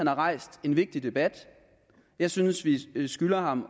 har rejst en vigtig debat jeg synes vi skylder ham